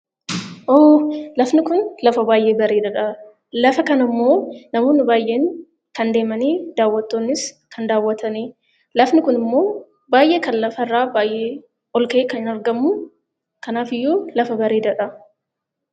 Hoo! Lafni kun lafa baay'ee bareedaadha. Lafa kana immoo namoonni baay'een kan deemanii, daawwattoonnis kan daawwataniidha. Lafni kun immoo baay'ee kan lafa irraa kan ol ka'ee kan argamu. Kanaaf iyyuu lafa bareedaadha.